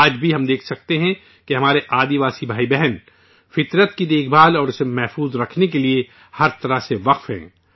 آج بھی ہم دیکھ سکتے ہیں کہ ہمارے آدیواسی بھائی بہن فطرت کی دیکھ بھال اور اس کے تحفظ کے لیے ہر طرح سے وقف ہیں